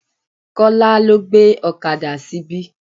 Kola lọ́ gbé ọ̀kadà síbí.